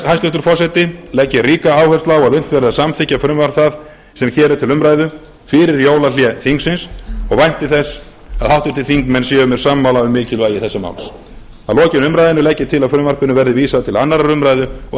hæstvirtur forseti legg ég ríka áherslu á að unnt verði að samþykkja frumvarp það sem hér er til umræðu fyrir jólahlé þingsins og vænti þess að háttvirtir þingmenn séu mér sammála um mikilvægi þessa máls að lokinni umræðunni legg ég til að frumvarpinu verði vísað til annarrar umræðu og